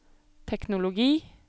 teknologi